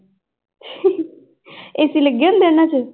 AC ਲੱਗੇ ਹੁੰਦੇ ਉਹਨਾਂ ਚ